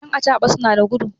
yan acaɓa suna da gudu